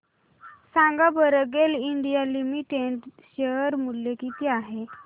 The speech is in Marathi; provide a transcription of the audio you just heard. सांगा बरं गेल इंडिया लिमिटेड शेअर मूल्य किती आहे